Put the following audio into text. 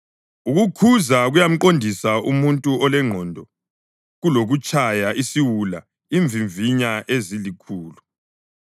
Ukukhuza kuyamqondisa umuntu olengqondo kulokutshaya isiwula imvimvinya ezilikhulu.